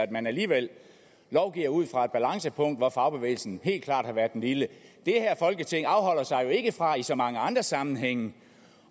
at man alligevel lovgiver ud fra et balancepunkt hvor fagbevægelsen helt klart har været den lille det her folketing afholder sig jo ikke fra i så mange andre sammenhænge